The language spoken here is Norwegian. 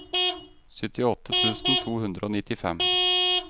syttiåtte tusen to hundre og nittifem